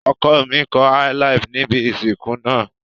Ọkọ mi kọ Áílaàfù níbi ìsìnkú náà.